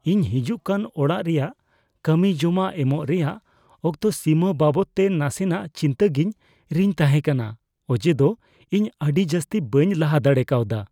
ᱤᱧ ᱦᱤᱡᱩᱜᱠᱟᱱ ᱚᱲᱟᱜ ᱨᱮᱭᱟᱜ ᱠᱟᱹᱢᱤ ᱡᱚᱢᱟ ᱮᱢᱚᱜ ᱨᱮᱭᱟᱜ ᱚᱠᱛᱚ ᱥᱤᱢᱟᱹ ᱵᱟᱵᱚᱫᱛᱮ ᱱᱟᱥᱮᱱᱟᱜ ᱪᱤᱱᱛᱟᱹᱜᱮᱧ ᱨᱤᱧ ᱛᱟᱦᱮᱸ ᱠᱟᱱᱟ ᱚᱡᱮᱫᱚ ᱤᱧ ᱟᱹᱰᱤ ᱡᱟᱹᱥᱛᱤ ᱵᱟᱹᱧ ᱞᱟᱦᱟ ᱫᱟᱲᱮ ᱠᱟᱣᱫᱟ ᱾